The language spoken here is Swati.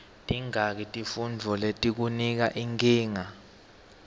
tingaki tifuntfo letikunika nkinga